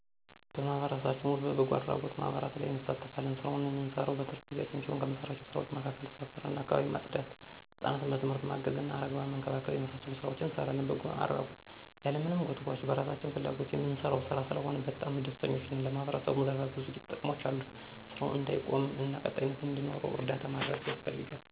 በማህበረሰባችን ዉስጥ በበጎ አድራጎት ማህበራት ላይ እንሳተፋለን። ስራውን እምንሰራው በትርፍ ጊዜ ሲሆን ከምንሰራቸው ስራዎች መካከል ሰፈር እና አካባቢን ማፅዳት፣ ሕፃናትን በትምህርት ማገዝ እና አረጋውያንን መንከባከብ የመሳሰሉትን ሥራዎች እንሰራለን። በጎ አድራጎት ያለማንም ጎትጉአች በራሳችን ፍላጎት እምንሰራው ሥራ ስለሆነ በጣም ደስተኞች ነን። ለማህበረሰቡም ዘርፈ ብዙ ጥቅሞች አሉት። ስራውም እንዳይቆም እና ቀጣይነት እንዲኖረው እርዳታ ማድረግ ያስፈልጋል።